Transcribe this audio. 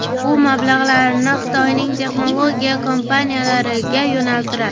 U mablag‘larini Xitoyning texnologiya kompaniyalariga yo‘naltiradi.